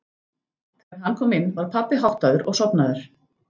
Þegar hann kom inn var pabbi háttaður og sofnaður.